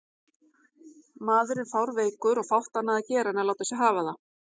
Maðurinn fárveikur og fátt annað að gera en láta sig hafa það.